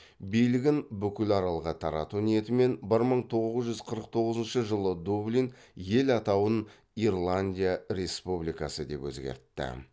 билігін бүкіл аралға тарату ниетімен бір мың тоғыз жүз қырық тоғызыншы жылы дублин ел атауын ирландия республикасы деп өзгертті